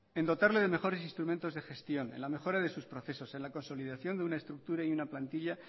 en dotarle de mejores instrumentos de gestión en lamejora de sus procesos en la consolidación de una estructura y una plantilla